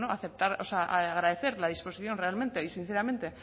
bueno agradecer la disposición realmente y sinceramente